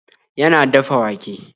Yana dafa wake.